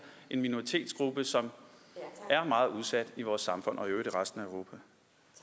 en minoritetsgruppe som er meget udsat i vores samfund